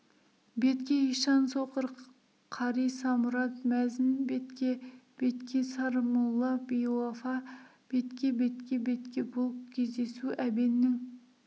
бетке ишан соқыр қари самұрат мәзін бетке бетке сармолла биуафа бетке бетке бетке бұл кездесу әбеннің